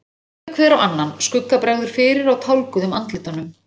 Þeir líta hver á annan, skugga bregður fyrir á tálguðum andlitunum.